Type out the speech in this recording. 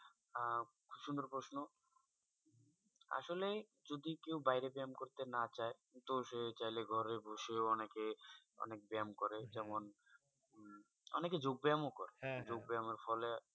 আহ সুন্দর প্রশ্ন। আসলে যদি কেউ বাইরে ব্যায়াম করতে না চায়? তো সে চাইলে ঘরে বসেও অনেকে অনেক ব্যায়াম করে যেমন অনেকে যোগ ব্যায়াম ও করে। যোগ ব্যাম এর ফলে